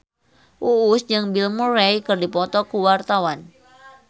Uus jeung Bill Murray keur dipoto ku wartawan